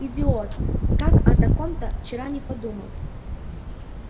идиот как о таком-то вчера не подумал